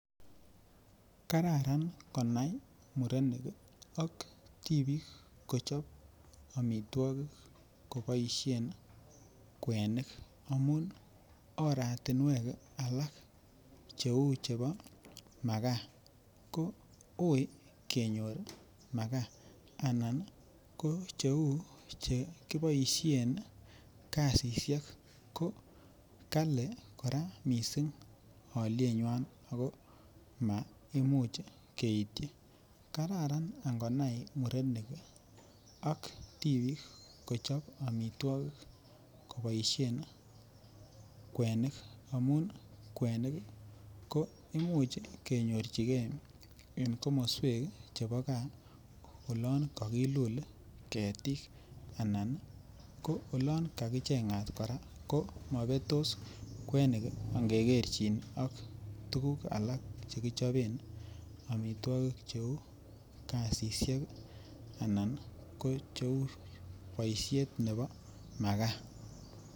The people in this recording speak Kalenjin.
Kararan konai murenik ak tibik kochob amitwokik koboishen kwenik amun oratinwek alak cheuu chebo makaa ko uii kenyor makaa anan ko cheuu chekiboishen kasishek ko kora kali mising olienywan ak ko maimuch keityi, kararan ing'onai murenik ak tibik kochob amitwokik koboishen kwenik amun kwenik ko imuch kenyorchike en komoswek chebo kaa olon kokilul ketik anan ko olon kakicheng'at kora ko mobetos kwenik ang'e kerchin ak tukuk alak chekichoben amitwokik cheuu kasisyek anan ko cheuu boishet nebo makaa.